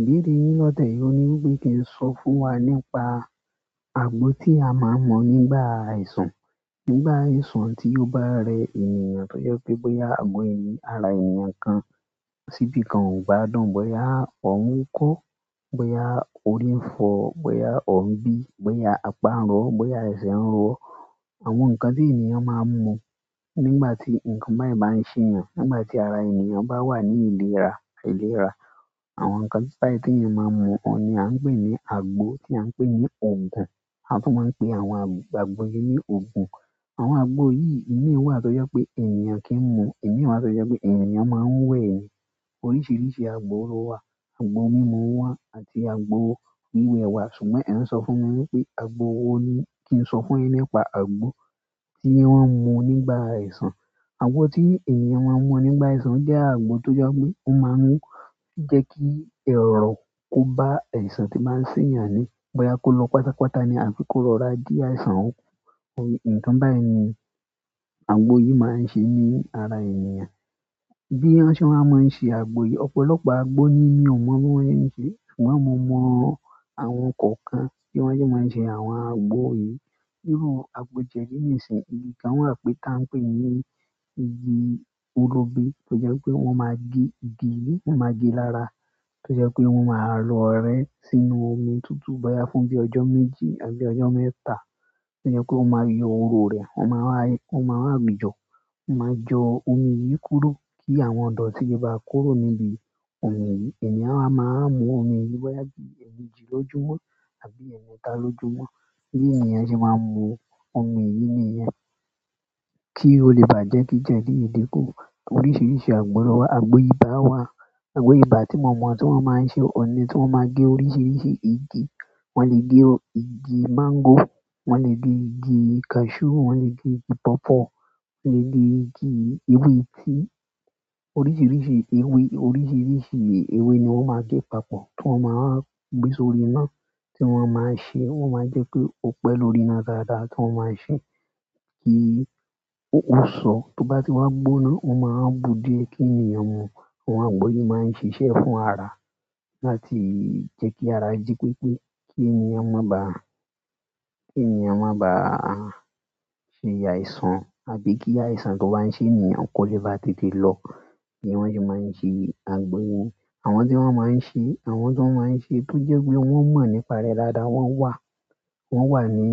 Ìbéèrè yìí lọ́tẹ̀ yìí ò ní wí pé kí n sọ fún wa nípa àgbo tí mo máa ń mu nígbà àìsàn. Iru àìsàn tí ó bá rẹ ènìyàn, tó jẹ́ pé bóyá àgo ẹni-- ara ènìyàn kan síbí kan ò gbádùn, bóyá ọ̀ún kọ́, bóyá orí ń fọ, bóyá ọ̀ún bí, bóyá apá ń rọ, bóyá ẹsẹ̀ ń ro. Àwọn nǹkan tí ènìyàn máa ń mu nígbà tí nǹkan bayẹ́n bá ń ṣeyàn, nígbà tí ara ènìyàn bá wà ní ìlera, ìlera. Àwọn nǹkan bayen tí ènìyàn máa ń mu, òun ni a ń pè ní àgbo tí a ń pè ní òogùn. A tún máa ń pe àwọn àgbò yìí ní òogùn. Àwọn àgbo yìí, ìmí ò wà tó jẹ́ pé ènìyàn kì í mu, ìmí wà tó jẹ́ pé ènìyàn máa ń wẹ̀ ni. Oríṣiríṣi àgbo ló wà. Àgbo mímu wà àti àgbo wíwẹ̀ wà. Ṣùgbọ́n ẹ̀ ń sọ fún mi wí pé àgbo wo ni kí n sọ fún yin nípa àgbo tí wọ́n ń mu nígbà àìsàn. Agbo ti ènìyàn nmu nígbà àìsàn o je agbo to je pe won maa mu o je ki irorun ko ba àìsàn to ba n seyan bóyá kó lọ pátápátá ni àbí kó rorà dín àìsàn óun kú. Nǹkan bẹ́ẹ̀ ni àgbo yìí máa ń ṣe ní ara ènìyàn. Bí wọn ṣe wa máa ń ṣe àgbo yìí, ọ̀pọ̀lọpọ̀ àgbo nì mi ò mọ bí wọ́n se n ṣe. Ṣùgbọ́n mo mọ àwọn kọ̀ọ̀kan tí wọ́n ṣe, tí wọ́n ṣe àwọn àgbo yìí. Irú àgbo jẹ́di nísìn igi kan wa pè ta ń pè ní igi orógun. Tó jẹ́ pé wọ́n máa gé igi yìí, wọ́n máa gé lára. Tó jẹ́ pé wọ́n máa ro ré sínú omi tutu boya fún bi ojo méjì àbí bi ojo mẹ́ta tó jẹ́ pé wọ́n máa yọ oro rẹ́ won maa wa won maa wa. Won maa jo omi yi kúrò, ki àwọn idoti le ba kúrò nibi eh eeyan a maa wa mu boya bi eemeji lójúmọ́ tàbí eemeta lójúmọ́. Bí ènìyàn ṣe máa ń mu omi yìí nìyẹn. Ki o le ba je ki jedi yen din ku. Oríṣiríṣi àgbo ló wà. Àgbo ibà wà. Àgbo ibà tí mo mọ̀ tí mo máa ń ṣe, òun ni tí wọ́n máa gé oríṣiríṣi igi. Wọ́n le gé igi máńgò, wọ́n le gé igi cashew, wọ́n le gé igi pawpaw, wọ́n le gé igi ewé tií oríṣiríṣi ewé, oríṣiríṣi ewé ni wọ́n máa ń gé papọ̀. Tí wọ́n máa wa gbé sórí iná tí wọ́n máa ń ṣe, wọ́n máa ń jẹ́ ki o pẹ́ lórí iná dáadáa tí wọ́n máa ń ṣe kí ó so. Tó bá ti wá gbóná, wọ́n máa wa bu dié kí ènìyàn mu. Àwọn àgbo yìí máa ń ṣiṣẹ́ fún ara láti jẹ́ kí ara jí pépé kí ènìyàn má bàá, ki ènìyàn maa ba fi le àìsàn tàbí ki àìsàn to ba n se ènìyàn ko le ba le tètè lo ni won se maa n se agbo yen. Àwọn tí wọ́n máa ń ṣe, àwọn tó máa ń ṣe, tó jẹ́ pé wọ́n mọ̀ nípa rẹ̀ dáadáa, wọ́n wà. Wọ́n wà ní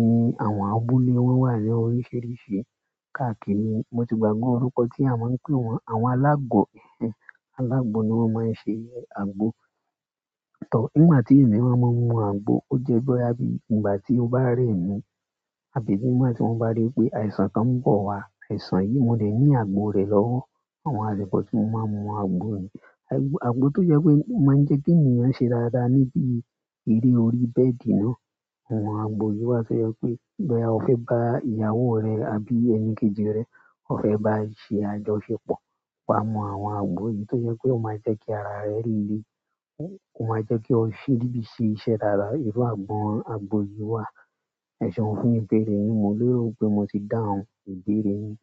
àwọn abúlé, wọ́n wà ní oríṣiríṣi. Kaa kiri mo ti gbagbe orúkọ ti àwọn pe won, àwọn alagbo alágbo ni wọ́n máa ń ṣe àgbo. Tọ́, nígbà tí èmi wa máa ń mu àgbo, ó jẹ́ bóyá bí ìgbà tí ó bá rẹ mí àbí nígbà tí mo bá rí pé àìsàn kan ń bọ̀ wá. Àìsàn yìí, mo lè ní àgbo rẹ̀ lọ́wọ́ àwọn àlupọ́ tí mo máa ń mu àgbo nì. Agbó to je pe, o maa je ki ènìyàn se dáradára nibi ere orí bedi o. Awọ́n agbo yìí wà to je pe, boya o fe ba ìyàwó re àbí enikeji re o fe ba se àjọṣepọ̀, wa mu àwọn agbo yìí to je pe o maa je ki ara re le o ma je ki didi se iṣẹ́ re lára, iru agbo agbo yi wa. Eseun fún ìbéèrè yin, mo lero pe mo ti dáhùn ìbéèrè yin.